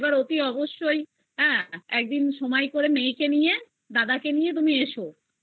এইবার অবশ্যই মেয়েকে নিয়ে দাদাকে নিয়ে তুমি এসো